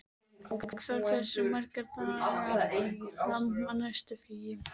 Eggþór, hversu margir dagar fram að næsta fríi?